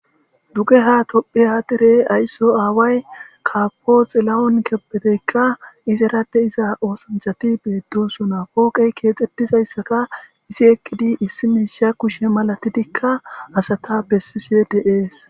Dugeha tophi aadirey ayso aaway kapoxilla'on keppeteykka izerade iza oosanchati beeddosonapooqey keexxettizayssaka isi ekkidi issi meisha kushe malatidikka asata bessi siedeees.